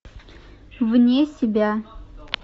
вне себя